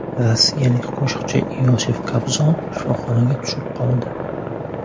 Rossiyalik qo‘shiqchi Iosif Kobzon shifoxonaga tushib qoldi.